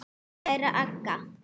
Kæra Agga.